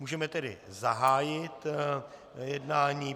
Můžeme tedy zahájit jednání.